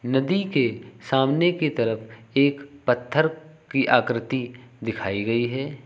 नदी के सामने की तरफ एक पत्थर की आकृति दिखाई गई है।